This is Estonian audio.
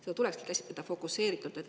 Seda tuleks käsitleda fokuseeritult.